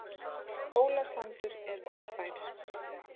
Hólasandur er ófær